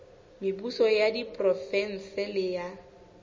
mebuso ya diprovense le ya